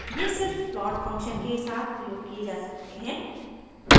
ये सिर्फ plot function के साथ प्रयोग किये जा सकते हैं